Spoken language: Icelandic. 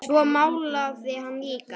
Svo málaði hann líka.